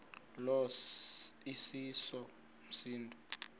lo iseso msindo